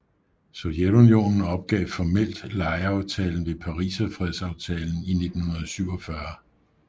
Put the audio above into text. Sovjetunionen opgav formelt lejeaftalen ved Pariserfredsaftalen i 1947